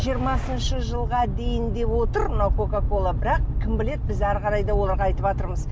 жиырмасыншы жылға дейін деп отыр мына кока кола бірақ кім біледі біз әрі қарай да оларға айтыватырмыз